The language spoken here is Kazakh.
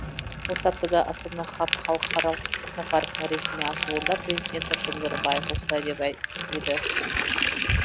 осы аптада астана хаб халықаралық технопаркінің ресми ашылуында президент нұрсұлтан назарбаев осылай деп еді